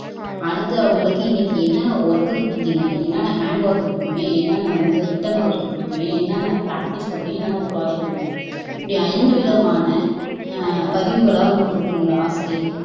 அடுத்து அவங்களுக்கு இன்னைக்கு என்னென்ன ஒர்க் குடுத்தீங்க என்னென்ன ஹேண்ட் ஒர்க் குடுத்தீங்க என்னென்ன ரிட்டன் ஒர்க் குடுத்தீங்க என்னென்ன ப்ராக்டீஸ் குடுத்தீங்க என்னென்ன பிராஜெக்ட் குடுத்தீங்க இப்படி ஐந்து விதமான அஹ் பதிவுகளை அவங்க குடுக்கணும் ஒரு ஆசிரியர்